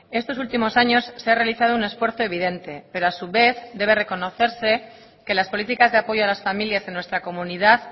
estos últimos años se ha realizado un esfuerzo evidente pero a su vez debe reconocerse que las políticas de apoyo a las familias en nuestra comunidad